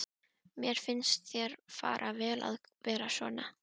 Mér finnst þér fara vel að vera svona.